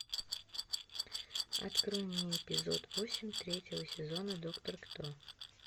открой мне эпизод восемь третьего сезона доктор кто